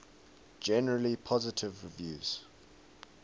generally positive reviews